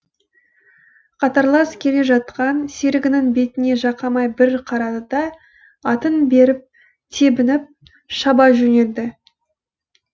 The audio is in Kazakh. қатарлас келе жатқан серігінің бетіне жақамай бір қарады да атын тебініп шаба жөнелді